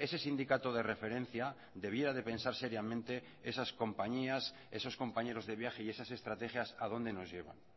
ese sindicato de referencia debiera de pensar seriamente esas compañías esos compañeros de viaje y esas estrategias a dónde nos llevan